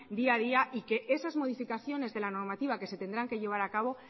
día a día y que esas modificaciones de la normativa que se tendrán que llevar a cabo